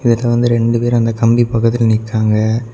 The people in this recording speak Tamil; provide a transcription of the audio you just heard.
இதுல வந்து ரெண்டு பேர் அந்த கம்பி பக்கத்துல நிக்கிறாங்க.